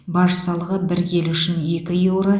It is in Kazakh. баж салығы бір келі үшін екі еуро